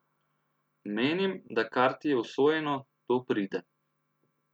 Menim, da kar ti je usojeno, to pride.